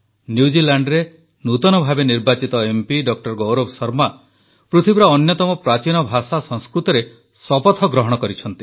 ନ୍ୟୁଜିଲାଣ୍ଡରେ ନୂତନ ଭାବେ ନିର୍ବାଚିତ ଏମ୍ପି ଡକ୍ଟର ଗୌରବ ଶର୍ମା ପୃଥିବୀର ଅନ୍ୟତମ ପ୍ରାଚୀନ ଭାଷା ସଂସ୍କୃତରେ ଶପଥ ଗ୍ରହଣ କରିଛନ୍ତି